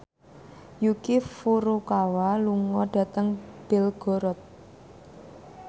Yuki Furukawa lunga dhateng Belgorod